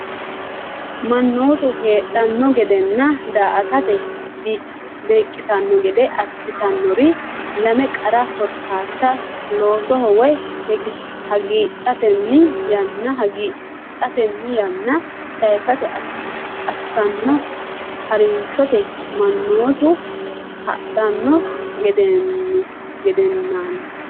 Mannootu hadhanno gedenna daa”atate beeqqitanno gede assitannori lame qara korkaatta loosoho woy hagiidhatenni yanna sayisate assanno ha’rinshooti Mannootu hadhanno gedenna.